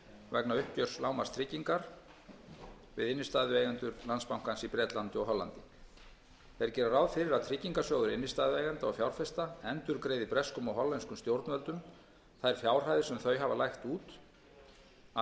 vegna uppgjörs lágmarkstryggingar við innstæðueigendur landsbankans í bretlandi og hollandi þeir gera ráð fyrir að tryggingarsjóður innstæðueigenda og fjárfesta endurgreiði breskum og hollenskum stjórnvöldum þær fjárhæðir sem þau hafa lagt út af